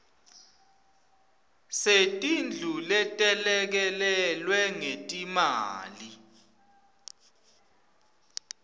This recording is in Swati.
setindlu letelekelelwe ngetimali